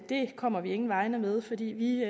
kommer vi ingen vegne med fordi vi